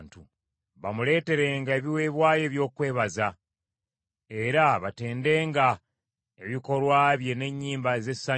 Bamuleeterenga ebiweebwayo eby’okwebaza, era batendenga ebikolwa bye n’ennyimba ez’essanyu.